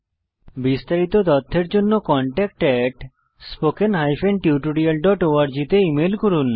বিস্তারিত তথ্যের জন্য contactspoken tutorialorg তে ইমেল করুন